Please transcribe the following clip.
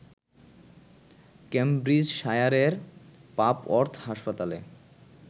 ক্যামব্রিজশায়ারের Papworth হাসপাতালে